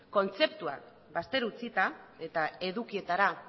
kontzeptuak bazter utzita eta edukietara